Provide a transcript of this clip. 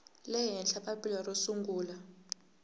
le henhla papila ro sungula